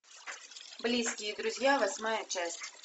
близкие друзья восьмая часть